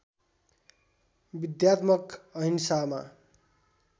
विद्यात्मक अहिंसामा